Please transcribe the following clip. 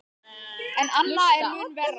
En annað er mun verra.